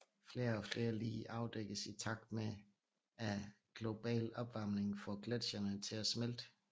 Flere og flere lig afdækkes i takt med at global opvarmning får gletsjerne til at smelte